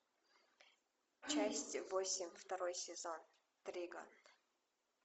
часть восемь второй сезон триган